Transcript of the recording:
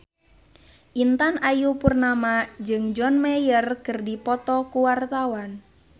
Intan Ayu Purnama jeung John Mayer keur dipoto ku wartawan